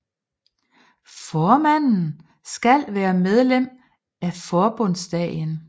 Formanden skal være medlem af Forbundsdagen